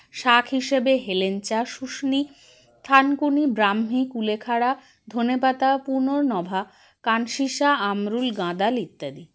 শাক হিসাবে হেলেঞ্চা শুষ্নী থানকুনি ব্রাহ্মী কুলেখাড়া ধনেপাতা পূনর্ণভা কানশিশা আমরুল গাঁদাল ইত্যাদি